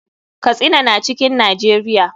Katsina na cikin najeria.